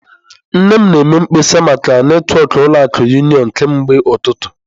Nne m na-eme mkpesa maka netwọkụ ụlọ akụ unịọnụ kemgbe ụtụtụ.